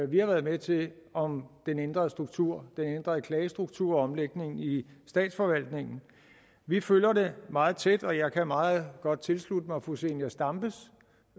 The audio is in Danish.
vi har været med til om den ændrede struktur den ændrede klagestruktur og omlægningen i statsforvaltningen vi følger det meget tæt og jeg kan meget godt tilslutte mig fru zenia stampes